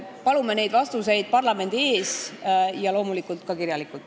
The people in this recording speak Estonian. Palume need vastused anda parlamendi ees ja loomulikult ka kirjalikult.